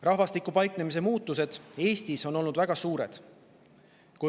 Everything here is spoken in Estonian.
Rahvastiku paiknemise muutused Eestis on olnud väga suured.